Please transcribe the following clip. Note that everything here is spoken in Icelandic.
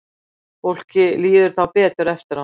Fólki líður þá betur eftir á.